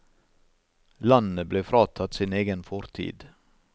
Landet ble fratatt sin egen fortid.